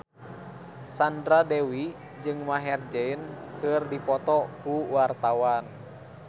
Sandra Dewi jeung Maher Zein keur dipoto ku wartawan